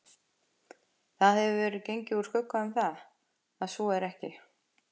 Það hefur verið gengið úr skugga um, að svo er ekki